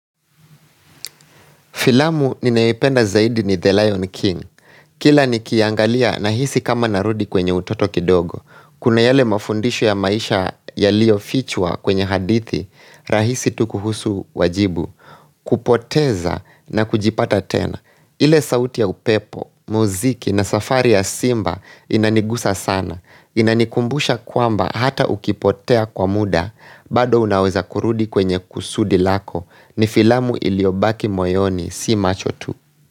Filamu ninayoipenda zaidi ni The Lion King. Kila nikiiangalia nahisi kama narudi kwenye utoto kidogo. Kuna yale mafundisho ya maisha yaliyofichwa kwenye hadithi, rahisi tu kuhusu wajibu. Kupoteza na kujipata tena. Ile sauti ya upepo, muziki na safari ya simba inanigusa sana. Inanikumbusha kwamba hata ukipotea kwa muda, bado unaweza kurudi kwenye kusudi lako. Ni filamu iliyobaki moyoni si macho tu.